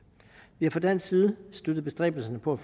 vi har fra dansk side støttet bestræbelserne på at